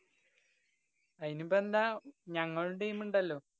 അയിനിപ്പോ എന്താ? ഞങ്ങളും team ണ്ടല്ലോ?